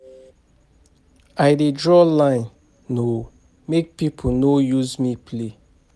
I dey draw line o make pipo no use me play.